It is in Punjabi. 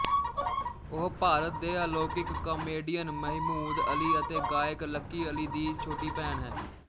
ਉਹ ਭਾਰਤ ਦੇ ਅਲੌਕਿਕ ਕਾਮੇਡੀਅਨ ਮਹਿਮੂਦ ਅਲੀ ਅਤੇ ਗਾਇਕ ਲੱਕੀ ਅਲੀ ਦੀ ਛੋਟੀ ਭੈਣ ਹੈ